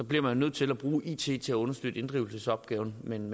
bliver man nødt til at bruge it til at understøtte inddrivelsesopgaven men